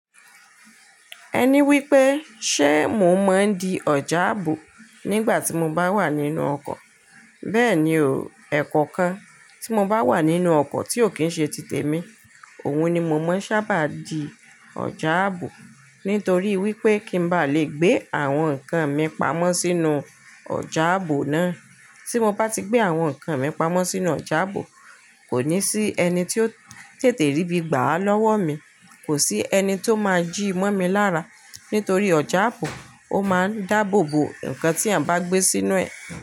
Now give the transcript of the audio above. Ẹni wí pé ṣé mo máa ń di ọ̀já àbò nígbà tí mo bá wà nínú ọkọ̀? Bẹ́ẹ̀ni o, ẹ̀kọ̀kan tí mo bá wà nínú ọkọ̀ tí ò kí ń ṣe ti tèmi, òun ni mo máa ń sábà di ọ̀já àbò. Nítorí wí pé kí n bá lè gbé àwọn nǹkan mi pamọ́ sínú ọ̀já àbò náà. Tí mo bá ti gbé àwọn nǹkan mi pamọ́ sínú ọ̀já àbò, kò ní sí ẹni tí ó tètè rí bí gbà á lọ́wọ́ mi. Kò sí ẹni tó máa jí mọ́ mi lára. Nítorí ọ̀já àbò ó máa ń dáàbò bo nǹkan tí à bá gbé sínú ẹ̀